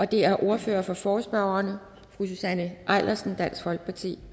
det er ordfører for forespørgerne fru susanne eilersen dansk folkeparti